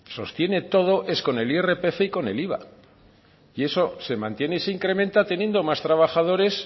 sostiene todo es con el irpf y con el iva y eso se mantiene y se incrementa teniendo más trabajadores